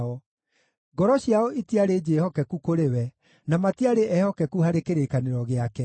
ngoro ciao itiarĩ njĩhokeku kũrĩ we, na matiarĩ eehokeku harĩ kĩrĩkanĩro gĩake.